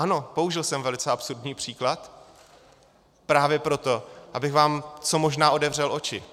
Ano, použil jsem velice absurdní příklad právě proto, abych vám co možná otevřel oči.